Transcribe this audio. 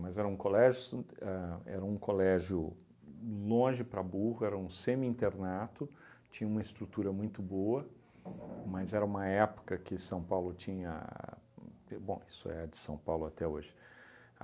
Mas era um colégio sant a era um colégio longe para burro, era um semi-internato, tinha uma estrutura muito boa, mas era uma época que São Paulo tinha... Bom, isso é de São Paulo até hoje.